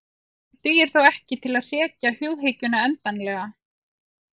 Þetta dugar þó ekki til að hrekja hughyggjuna endanlega.